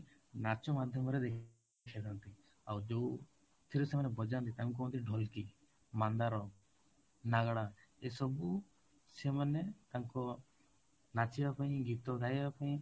ନାଚ ମାଧ୍ୟମରେ ଦେଖେଇ ଥାଆନ୍ତି ଆଉ ଯୋଉ ଥିରେ ସେମାନେ ବଜାନ୍ତି ତାକୁ କୁହନ୍ତି ଢୋଲକି, ମାନ୍ଧାର, ନାଗାଡା ଏ ସବୁ ସେମାନେ ତାଙ୍କ ନାଚିବା ପାଇଁ ଗୀତ ଗାଇବା ପାଇଁ